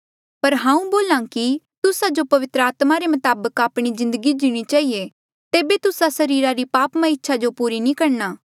पर हांऊँ बोल्हा कि तुस्सा जो पवित्र आत्मा रे मताबक आपणी जिन्दगी जीणी चहिए तेबे तुस्सा सरीरा री पापमय इच्छा जो पूरी नी करणी